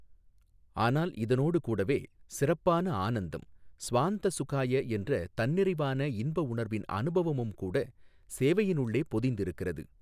ஆனால் இதனோடு கூடவே சிறப்பான ஆனந்தம், ஸ்வாந்த சுகாய என்ற தன்னிறைவான இன்பஉணர்வின் அனுபவமும் கூட, சேவையினுள்ளே பொதிந்திருக்கிறது.